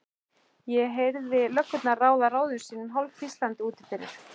Ég heyrði löggurnar ráða ráðum sínum hálfhvíslandi úti fyrir.